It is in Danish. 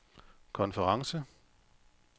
konference